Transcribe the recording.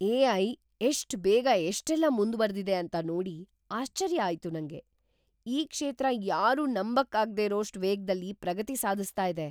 AI. ಎಷ್ಟ್ ಬೇಗ ಎಷ್ಟೆಲ್ಲ ಮುಂದ್ವರ್ದಿದೆ ಅಂತ ನೋಡಿ ಆಶ್ಚರ್ಯ ಆಯ್ತು ನಂಗೆ! ಈ ಕ್ಷೇತ್ರ ಯಾರೂ ನಂಬಕ್ಕಾಗ್ದೇರೋಷ್ಟ್ ವೇಗ್‌ದಲ್ಲಿ‌ ಪ್ರಗತಿ ಸಾಧಿಸ್ತಾ ಇದೆ.